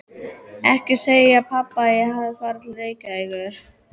Ekki segja pabba að ég hafi farið til Reykjavíkur.